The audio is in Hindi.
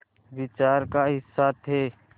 विचार का हिस्सा थे